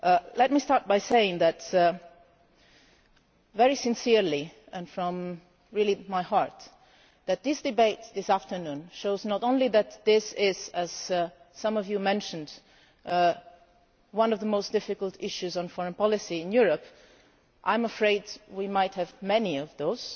Let me start by saying very sincerely and from my heart that this debate this afternoon shows not only that this is, as some of you mentioned, one of the most difficult issues on foreign policy in Europe I am afraid we might have many of those